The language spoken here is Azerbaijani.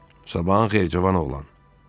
"Sabahın xeyir Cavan oğlan.